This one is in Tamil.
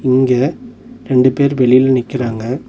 இங்க ரெண்டு பேர் வெளில நிக்குறாங்க.